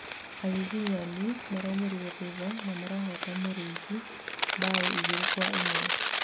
Agiginyani maraũmirĩ thutha na marahota mĩruthi mbao igĩrĩ nao ĩmwe